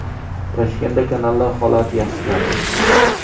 Toshkentda kanallar holati yaxshilanadi.